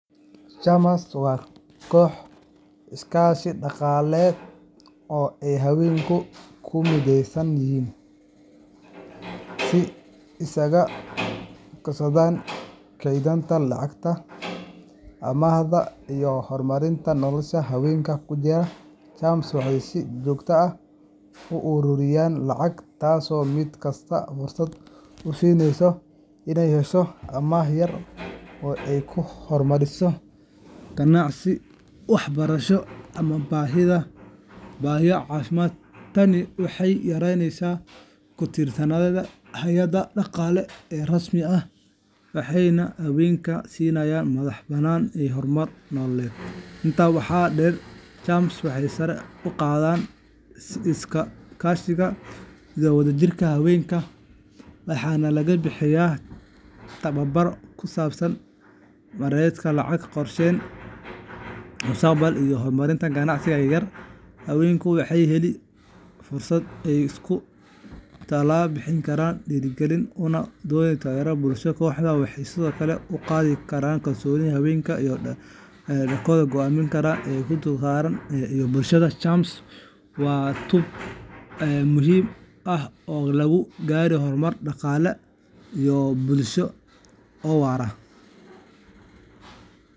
CHAMAska waa kooxo iskaashi dhaqaale oo ay haweenku ku mideysan yihiin si ay isaga kaashadaan kaydinta lacagta, amaahda, iyo horumarinta noloshooda. Haweenka ku jira CHAMAska waxay si joogto ah u uruuriyaan lacag, taasoo mid kasta fursad u siineysa in ay hesho amaah yar oo ay ku horumariso ganacsi, waxbarasho, ama baahiyo caafimaad. Tani waxay yareyneysaa ku tiirsanaanta hay’adaha dhaqaale ee rasmi ah, waxayna haweenka siinaysaa madax-bannaani iyo horumar nololeed. Intaa waxaa dheer, CHAMAska waxay sare u qaadaan is-kaashiga iyo wadajirka haweenka. Waxaa lagu bixiyaa tababaro ku saabsan maaraynta lacagta, qorsheynta mustaqbalka, iyo horumarinta ganacsiga yar-yar. Haweenku waxay helaan fursado ay iskula talo bixiyaan, is dhiirrigeliyaan, una noqdaan taageero bulsho. Kooxahan waxay sidoo kale kor u qaadaan kalsoonida haweenka iyo doorkooda go'aan qaadashada ee gudaha qoyska iyo bulshada. CHAMAska waa tub muhiim ah oo lagu gaari karo horumar dhaqaale iyo mid bulsho oo waara.